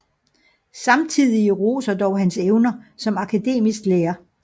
Samtidige roser dog hans evner som akademisk lærer